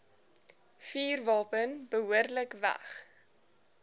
vuurwapen behoorlik weg